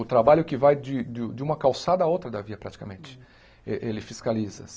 O trabalho que vai de de de uma calçada a outra da via, praticamente, eh ele fiscaliza.